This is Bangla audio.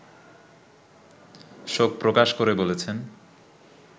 শোক প্রকাশ করে বলেছেন